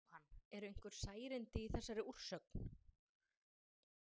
Jóhann: Eru einhver særindi í þessari úrsögn?